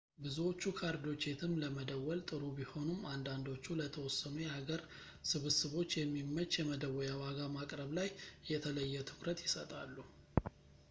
ብዙዎቹ ካርዶች የትም ለመደወል ጥሩ ቢሆኑም አንዳንዶቹ ለተወሰኑ የሀገር ስብስቦች የሚመች የመደወያ ዋጋ ማቅረብ ላይ የተለየ ትኩረት ይሰጣሉ